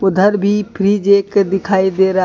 भी फ्रिज एक दिखाई दे रहा--